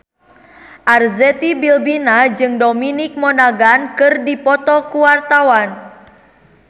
Arzetti Bilbina jeung Dominic Monaghan keur dipoto ku wartawan